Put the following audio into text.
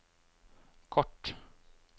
kort